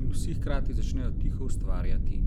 in vsi hkrati začnejo tiho ustvarjati.